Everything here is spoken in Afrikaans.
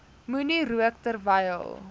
moenie rook terwyl